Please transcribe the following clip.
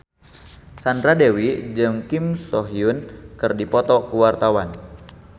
Sandra Dewi jeung Kim So Hyun keur dipoto ku wartawan